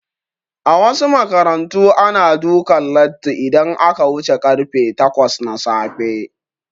A wasu makarantu ana dukan latti idan aka wuce karfe takwas na safe